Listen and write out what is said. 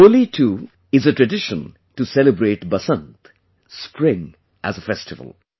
Holi too is a tradition to celebrate Basant, spring as a festival